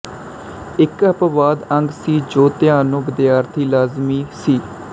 ਇੱਕ ਅਪਵਾਦ ਅੰਗ ਸੀ ਜੋ ਪਿਆਨੋ ਵਿਦਿਆਰਥੀਆਂ ਲਈ ਲਾਜ਼ਮੀ ਸੀ